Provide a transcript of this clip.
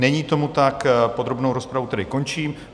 Není tomu tak, podrobnou rozpravu tedy končím.